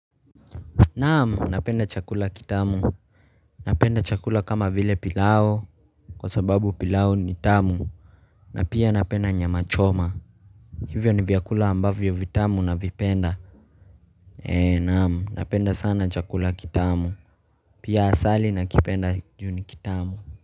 Naam, napenda chakula kitamu, napenda chakula kama vile pilau kwa sababu pilau ni tamu na pia napenda nyamachoma Hivyo ni vyakula ambavyo vitamu navipenda. Naam, napenda sana chakula kitamu, pia asali nakipenda juu ni kitamu.